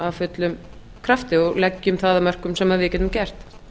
af fullum krafti og leggjum það af mörkum sem við getum gert